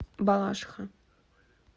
балашиха